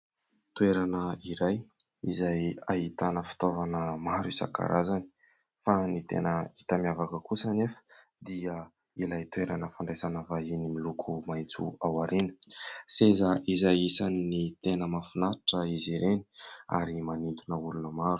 Toerana iray izay ahitana fitaovana maro isankarazany fa ny tena hita miavaka kosa anefa dia ilay toerana fandraisana vahiny miloko maitso ao aoriana ; seza izay isany ny tena mahafinaritra izy ireny ary manintona olona maro.